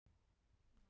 Síðan kemur hann aftur